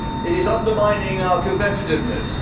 It is undermining our competitiveness.